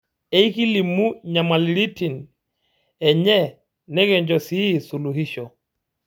Eekilimu nyamaliritin enye nikincho sii suluhisho.